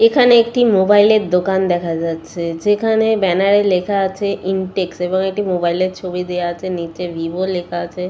এখানে একটি মোবাইল এর দোকান দেখা যাচ্ছে যেখানে ব্যানার এ লেখা আছে ইনটেক্স এবং একটি মোবাইল এর ছবি দেওয়া আছে নিচে ভিভো লেখা আছে।